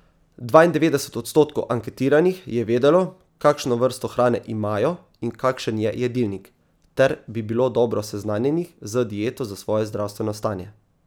Dvaindevetdeset odstotkov anketiranih je vedelo, kakšno vrsto hrane imajo in kakšen je jedilnik, ter bilo dobro seznanjenih z dieto za svoje zdravstveno stanje.